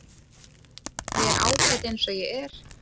Ég er ágæt eins og ég er.